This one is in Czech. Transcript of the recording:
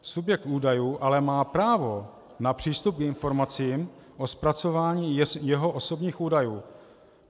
Subjekt údajů ale má právo na přístup k informacím o zpracování jeho osobních údajů.